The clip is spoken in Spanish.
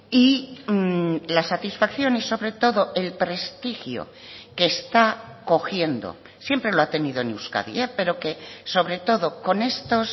y la satisfacción y sobre todo el prestigio que está cogiendo siempre lo ha tenido en euskadi pero que sobre todo con estos